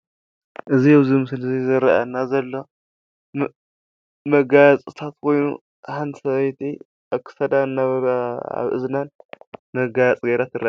እዚ ኣብ ምስሊ ዝረኣየና ዘሎ መጋየፂታት ሓንቲ ሰበይቲ ኣብ ክሳዳን ኣብ እዝናን መገየፂ ገይራ ትርአ።